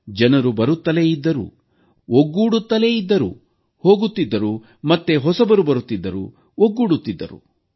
ಜನರು ಬರುತ್ತಲೇ ಇದ್ದರು ಒಗ್ಗೂಡುತ್ತಲೇ ಇದ್ದರು ಹೋಗುತ್ತಿದ್ದರು ಮತ್ತೆ ಹೊಸಬರು ಬರುತ್ತಿದ್ದರು ಒಗ್ಗೂಡುತ್ತಿದ್ದರು